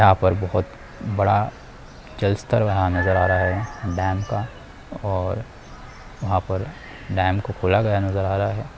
यहाँ पर बहुत बड़ा जलस्थल वहाँ नज़र आ रहा हैं डैम का और वहाँ पर डैम को खुला हला गया नज़र आ रहा हैं।